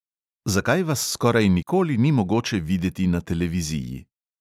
Zakaj vas skoraj nikoli ni mogoče videti na televiziji?